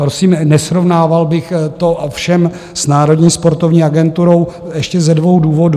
Prosím, nesrovnával bych to ovšem s Národní sportovní agenturou ještě ze dvou důvodů.